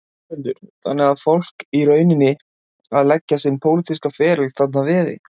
Þórhildur: Þannig að fólk er í rauninni að leggja sinn pólitíska ferli þarna að veði?